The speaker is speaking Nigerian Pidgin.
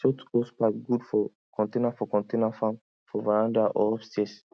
short hosepipe good for container for container farm for veranda or upstairs